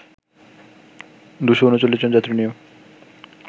২৩৯ জন যাত্রী নিয়ে